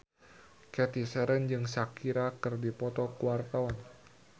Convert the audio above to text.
Cathy Sharon jeung Shakira keur dipoto ku wartawan